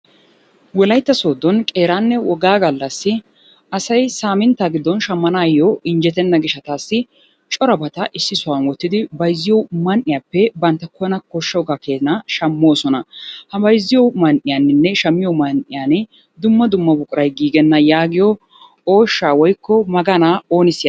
Wolaytta Sooddon qeeraanne woggaa galassi asay samintta giddon shammanaayyo injjettena gishshatassi corabata ississan wottidi bayzziyo man''iyappe banttana koshshaaga keena shammoosona. ha bayzziyo man''iyaninne shammiyoo man''iyaan dumma dumma buquray giigena yaagiyo ooshsha woykko maganaa ooni siyyaanne?